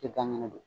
Tɛ ban kɛnɛ don